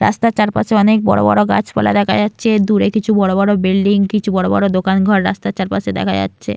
রাস্তার চারপাশে অনেক বড় বড় গাছপালা দেখা যাচ্ছে। দূরে কিছু বড় বড় বিল্ডিং কিছু বড় বড় দোকান ঘর রাস্তার চারপাশে দেখা যাচ্ছে।